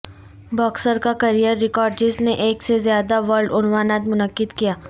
boxer کا career record جس نے ایک سے زیادہ ورلڈ عنوانات منعقد کیا